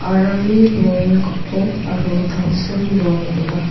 aramni rong gipok aro tangsim rong ong·a.